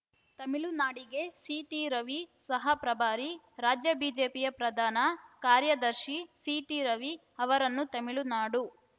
ತಮಿಳುನಾಡಿಗೆ ಸಿಟಿ ರವಿ ಸಹ ಪ್ರಭಾರಿ ರಾಜ್ಯ ಬಿಜೆಪಿಯ ಪ್ರಧಾನ ಕಾರ್ಯದರ್ಶಿ ಸಿಟಿ ರವಿ ಅವರನ್ನು ತಮಿಳುನಾಡು